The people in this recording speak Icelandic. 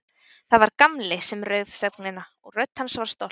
Það var Gamli sem rauf þögnina og rödd hans var stolt.